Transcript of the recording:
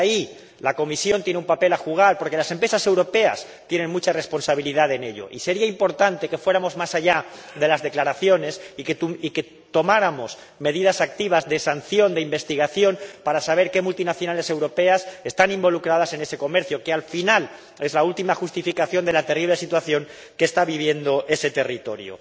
Y, ahí, la Comisión tiene un papel que jugar, porque las empresas europeas tienen mucha responsabilidad en ello y sería importante que fuéramos más allá de las declaraciones y que tomáramos medidas activas de sanción, de investigación, para saber qué multinacionales europeas están involucradas en ese comercio que, al final, es la última justificación de la terrible situación que está viviendo ese territorio.